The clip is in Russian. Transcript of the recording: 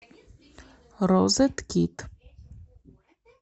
розеткид